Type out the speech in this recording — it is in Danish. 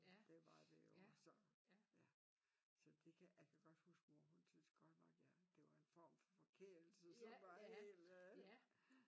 Det var det jo så ja så det kan jeg kan godt huske mor hun syntes godt nok jeg det var en form for forkælelse som var hel